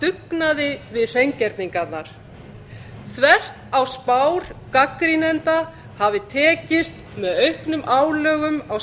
dugnaði við hreingerningarnar þvert á spár gagnrýnenda hafði tekist með auknum álögum á